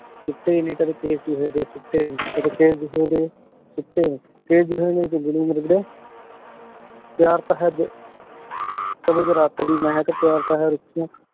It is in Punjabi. ਸੁਟੇ ਨੀ ਕਦੀ ਕੇਸ਼ ਜੂਹੇ ਦੇ ਪਿਆਰ ਤਾਂ ਹੈ ਪਿਆਰ ਤਾਂ ਹੈ ਰੁਖਿਯਾਂ